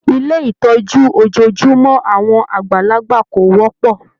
Ilé ìtọ́jú ojojúmọ́ àwọn àgbàlagbà kò wọ́pọ̀.